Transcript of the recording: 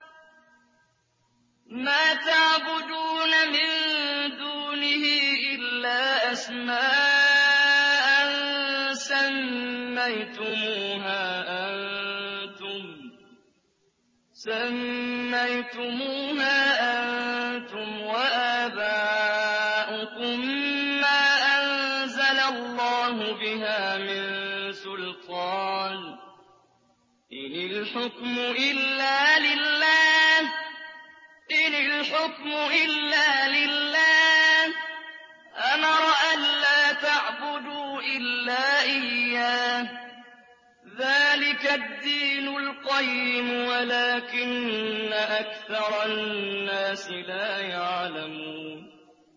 مَا تَعْبُدُونَ مِن دُونِهِ إِلَّا أَسْمَاءً سَمَّيْتُمُوهَا أَنتُمْ وَآبَاؤُكُم مَّا أَنزَلَ اللَّهُ بِهَا مِن سُلْطَانٍ ۚ إِنِ الْحُكْمُ إِلَّا لِلَّهِ ۚ أَمَرَ أَلَّا تَعْبُدُوا إِلَّا إِيَّاهُ ۚ ذَٰلِكَ الدِّينُ الْقَيِّمُ وَلَٰكِنَّ أَكْثَرَ النَّاسِ لَا يَعْلَمُونَ